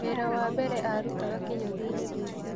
Wĩra wa mbere arutaga kĩnyũthi-inĩ gĩkĩ